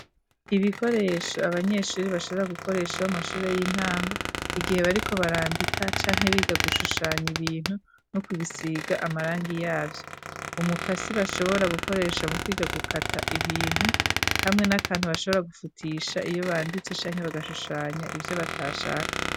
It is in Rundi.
Ibikoresho abanyeshure bashobora gukoresha b'amashure y'intango igihe bariko barandika canke biga gushushanya ibintu no kubisiga amarangi yavyo umukasi bashobora gukoresha mu kwiga gukata ibintu hamwe n'akantu bashobora gufutisha iyo banditse canke bagashushanya ivyo batashaka.